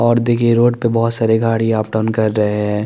Road देखिये road पे बोहोत सारी गाड़िया आप टर्न कर रहे है ।